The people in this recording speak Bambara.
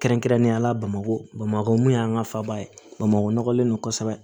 Kɛrɛnkɛrɛnnenya la bamakɔ bamakɔ mun y'an ka faba ye bamakɔlen don kosɛbɛ